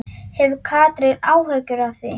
Hefur Katrín áhyggjur af því?